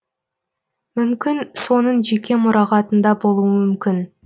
мүмкін соның жеке мұрағатында болуы мүмкін